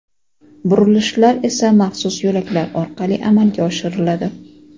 burilishlar esa maxsus yo‘laklar orqali amalga oshiriladi.